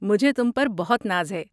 مجھے تم پر بہت ناز ہے۔